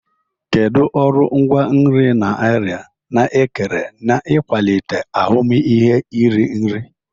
Kedu ọrụ ngwaa nri na arịa na-ekere n'ịkwalite ahụmịhe iri nri?